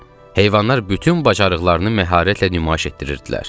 Heyvanlar bütün bacarıqlarını məharətlə nümayiş etdirirdilər.